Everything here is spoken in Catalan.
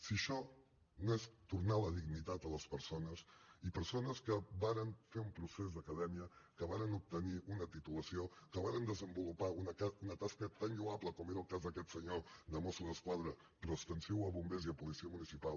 si això no és tornar la dignitat a les persones i persones que varen fer un procés d’acadèmia que varen obtenir una titulació que varen desenvolupar una tasca tan lloable com era el cas d’aquest senyor de mosso d’esquadra però extensiu a bombers i a policia municipal